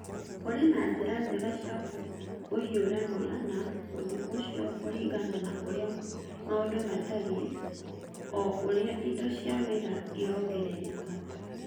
Kũrĩ na njĩra njega cia kũhiũrania na ũndũ ũcio kũringana na ũrĩa maũndũ matariĩ o ũrĩa indo cia wĩra irongererekaga.